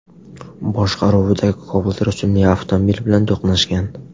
boshqaruvidagi Cobalt rusumli avtomobil bilan to‘qnashgan.